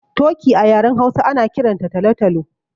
Toki a yaren Hausa ana kiran ta talo-talo.